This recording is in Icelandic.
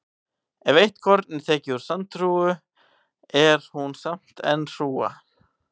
Ef eitt korn er tekið úr sandhrúga er hún samt enn hrúga.